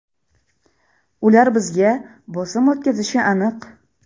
Ular bizga bosim o‘tkazishi aniq.